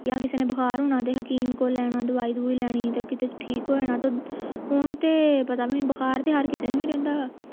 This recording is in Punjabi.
ਯਾ ਕਿਸੇ ਨੂੰ ਬੁਖਾਰ ਹੋਣਾ ਤੇ ਹਕੀਮ ਕੋਲ ਲੈ ਜਾਣਾ ਦਵਾਈ ਦਵੁਈ ਲੈਣੀ ਤੇ ਕਿਤੇ ਠੀਕ ਹੋ ਜਾਣਾ ਤੇ ਹੁਣ ਤੇ ਪਤਾ ਨਣੀ ਬੁਖਾਰ ਤੇ ਹਰ ਕਿਸੇ ਨੂੰ ਹੀ ਰਹਿੰਦਾ ਆ